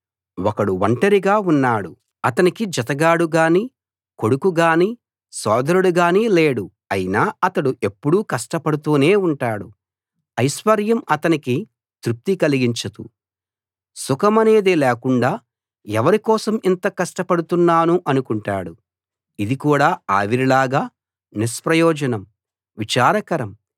ఒకడు ఒంటరిగా ఉన్నాడు అతనికి జతగాడు గాని కొడుకు గాని సోదరుడు గాని లేడు అయినా అతడు ఎప్పుడూ కష్టపడుతూనే ఉంటాడు ఐశ్వర్యం అతనికి తృప్తి కలిగించదు సుఖమనేది లేకుండా ఎవరి కోసం ఇంత కష్టపడుతున్నాను అనుకుంటాడు ఇది కూడా ఆవిరిలాగా నిష్ప్రయోజనం విచారకరం